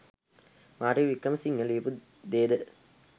Martin Wickramasinghe ලියපු දේද